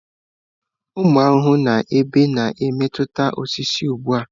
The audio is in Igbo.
Ụmụ ahụhụ na ebe na-emetụta osisi ugbo.